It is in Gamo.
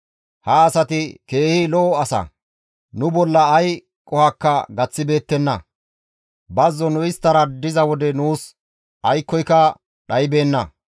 Ha asati keehi lo7o asa; nu bolla ay qohokka gaththibeettenna. Bazzon nu isttara diza wode nuus aykkoyka dhaybeenna.